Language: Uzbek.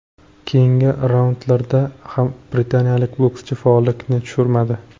Keyingi raundlarda ham britaniyalik bokschi faollikni tushirmadi.